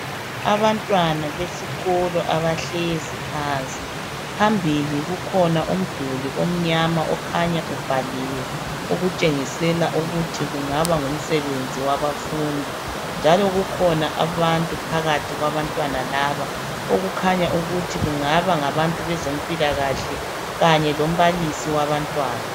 Abantwana besikolo abahlezi phansi, phambili kukhona umduli omnyama okhanya ubhaliwe . Okutshengisela ukuthi kungaba ngumsebenzi wabafundi. Njalo kukhona abantu phakathi kwabantwana laba . Okukhanya ukuthi kungaba ngabantu bezempilakahle Kanye lombalisi wabantwana.